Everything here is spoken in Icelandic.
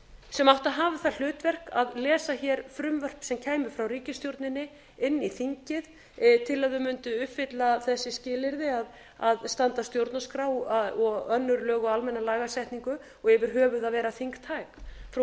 sem átti að hafa það hlutverk að lesa hér frumvörp sem kæmu frá ríkisstjórninni inn í þingið til að þau mundu uppfylla þessi skilyrði að standast stjórnarskrá og önnur lög og almenna lagasetningu og yfir höfuð að vera þingtæk frú